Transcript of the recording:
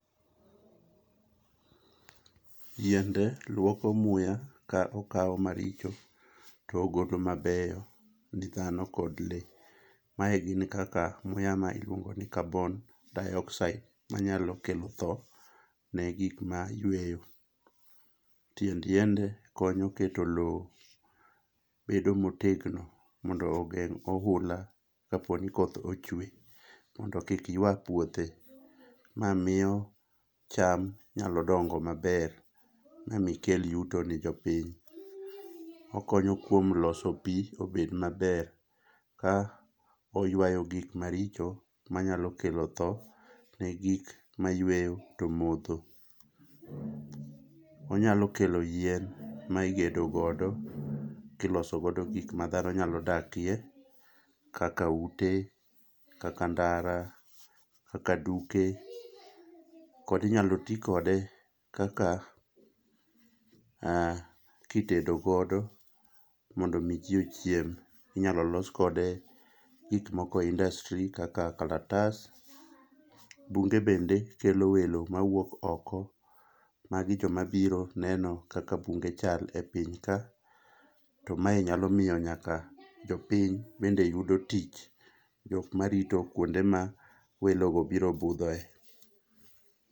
Yiende luoko muya ka okao maricho to ogolo mabeyo ne dhano kod lee, mae gik muya kaka carbon dioxide ma nyalo kelo thoo ne gikma yweyo. Tiend yiende konyo keto loo bedo motegno mondo ogeng' oula kapo ni koth ochwe mondo kik ywa puothe, ma miyo cham nyalo dong'o maber ma mi kel yuto ne jopiny okonyo kuom loso pii obed maber ka oyuayo gik maricho ma nyalo thoo ne gik ma yweyo to modho. Onyalo kelo yien ma igedo godo kiloso go gik ma dhano nyalo dakie kaka ute kaka ndara kaka duke kod inyalo ti kode kaka mh kitedo godo mondo mi jii ochiem, inyalo los kode gikmoko e industry kaka kalatas, bunge bende kelo welo ma wuok oko, magi joma biro neno kaka bunge chal e piny ka to mae nyalo miyo nyaka jopiny bende yudo tich jokma rito kwonde ma welo go biro budhoe.